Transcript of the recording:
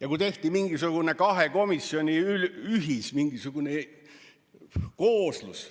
ja kui tehti mingisugune kahe komisjoni ühiskooslus.